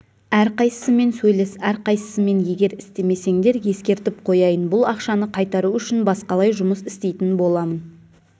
әрқайсысымен сөйлес әрқайсысымен егер істемесеңдер ескертіп қояйын бұл ақшаны қайтару үшін басқалай жұмыс істейтін боламын